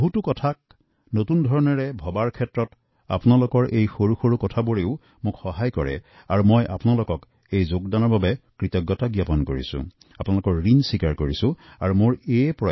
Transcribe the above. আপোনালোকৰ সৰু সৰু মতামতে বহু পৰিকল্পনাক নতুনকৈ ভাবিবলৈ সহায় কৰে আৰু সেইবাবে আপোনালোকৰ ওচৰত আন্তৰিক কৃতজ্ঞতা আৰু ঋণ স্বীকাৰ কৰিব বিচাৰিছোঁ